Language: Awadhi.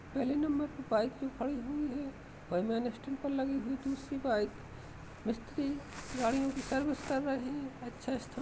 पहले नंबर पर बाइक जो खड़ी हुई है और मेन स्टैंड पर लगी हुई दुसरी बाइक मिस्तरी गाड़ियों की सर्विस कर रहे अच्छा स्थान --